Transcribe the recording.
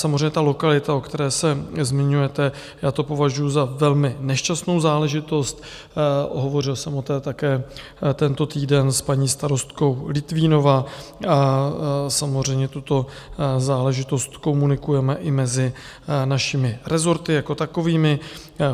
Samozřejmě ta lokalita, o které se zmiňujete, já to považuju za velmi nešťastnou záležitost, hovořil jsem o tom také tento týden s paní starostkou Litvínova a samozřejmě tuto záležitost komunikujeme i mezi našimi rezorty jako takovými.